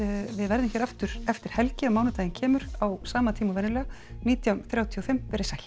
við verðum hér aftur eftir helgi á mánudaginn kemur á sama tíma og venjulega nítján þrjátíu og fimm veriði sæl